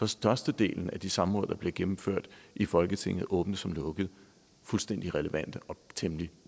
størstedelen af de samråd der bliver gennemført i folketinget åbnede som lukkede fuldstændig relevante og temmelig